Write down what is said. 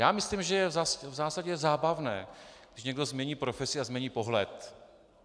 Já myslím, že je v zásadě zábavné, když někdo změní profesi a změní pohled.